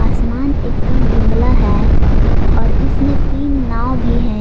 असमान एकदम धुंधला है और इसमें तीन नाव भी हैं।